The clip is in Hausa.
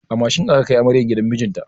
A mashin aka kai amaryar gidan mijinta.